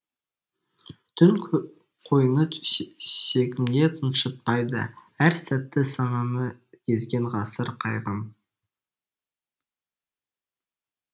түн қойны төсегімде тыншытпайды әр сәті сананы езген ғасыр қайғым